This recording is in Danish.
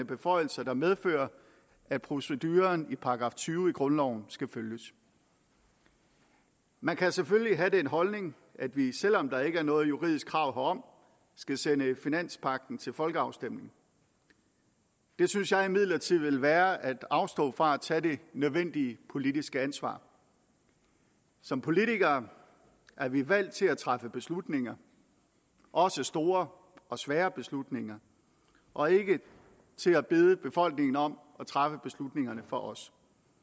beføjelser der medfører at proceduren i § tyve i grundloven skal følges man kan selvfølgelig have den holdning at vi selv om der ikke er noget juridisk krav herom skal sende finanspagten til folkeafstemning det synes jeg imidlertid vil være at afstå fra at tage det nødvendige politiske ansvar som politikere er vi valgt til at træffe beslutninger også store og svære beslutninger og ikke til at bede befolkningen om at træffe beslutningerne for os